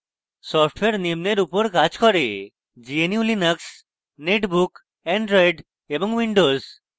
software নিম্নের উপর কাজ করে